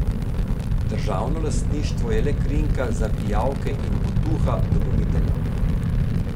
Državno lastništvo je le krinka za pijavke in potuha dobaviteljem.